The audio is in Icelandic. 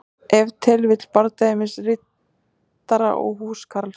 Ef til vill bardagi milli riddara og húskarls.